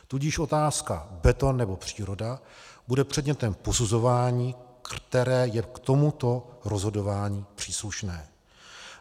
Tudíž otázka beton, nebo příroda bude předmětem posuzování, které je k tomuto rozhodování příslušné.